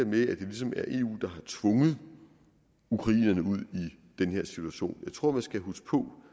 med at det ligesom er eu der har tvunget ukrainerne ud i den her situation jeg tror man skal huske på